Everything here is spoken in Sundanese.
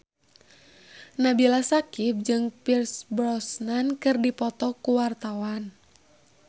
Nabila Syakieb jeung Pierce Brosnan keur dipoto ku wartawan